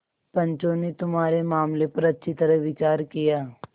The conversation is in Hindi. पंचों ने तुम्हारे मामले पर अच्छी तरह विचार किया